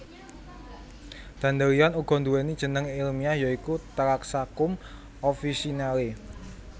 Dandelion uga nduwèni jeneng ilmiah ya iku Taraxacum officinale